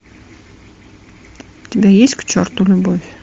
у тебя есть к черту любовь